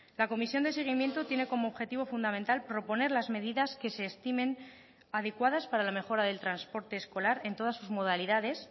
la comisión de seguimiento tiene como objetivo fundamental proponer las medidas que se estimen adecuadas para la mejora del transporte escolar en todas sus modalidades